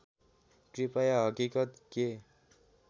कृपया हकिकत के